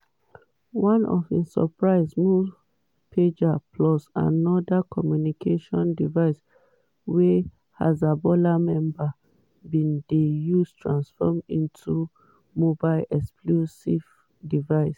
for one surprise move pagers plus oda communication devices wey hezbollah members bin dey use transform into mobile explosive devices.